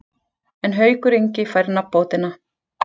En Haukur Ingi fær nafnbótina.